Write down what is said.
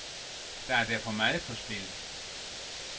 Der er derfor meget på spil.